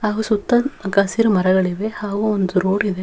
ಹಾಗೂ ಸುತ್ತ ಹಸಿರು ಮರಗಳಿವೆ ಹಾಗೂ ಒಂದು ರೋಡ್ ಇದೆ.